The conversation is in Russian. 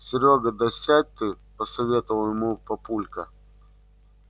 серёга да сядь ты посоветовал ему папулька